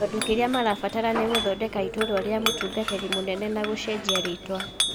Tondũ kĩrĩa marabatara nĩ gũthondeka iturwa rĩa mũtungatĩri mũnene na gũcenjia rĩtwa.